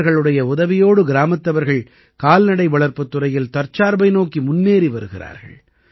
இவர்களுடைய உதவியோடு கிராமத்தவர்கள் கால்நடை வளர்ப்புத் துறையில் தற்சார்பை நோக்கி முன்னேறி வருகிறார்கள்